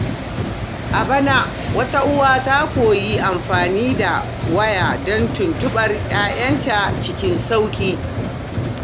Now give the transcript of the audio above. A bana, wata uwa ta koyi amfani da waya don tuntuɓar ‘ya’yanta cikin sauƙi.